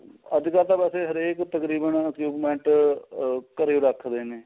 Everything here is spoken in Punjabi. ਅੱਜਕਲ ਤਾਂ ਵੈਸੇ ਹਰੇਕ ਤਕਰੀਬਨ equipment ਘਰੇ ਰੱਖਦੇ ਨੇ